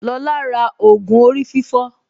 Lọlá ra ògù orí fífọ́